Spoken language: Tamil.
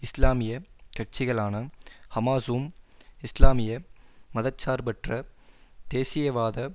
இஸ்லாமிய கட்சிகளான ஹமாஸும் இஸ்லாமிய மத சார்பற்ற தேசியவாத